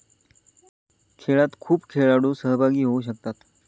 खेळात खूप खेळाडू सहभागी होऊ शकतात.